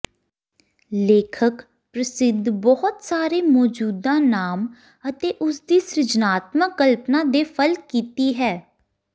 ਲੇਖਕ ਪ੍ਰਸਿੱਧ ਬਹੁਤ ਸਾਰੇ ਮੌਜੂਦਾ ਨਾਮ ਅਤੇ ਉਸ ਦੀ ਸਿਰਜਣਾਤਮਕ ਕਲਪਨਾ ਦੇ ਫਲ ਕੀਤੀ ਹੈ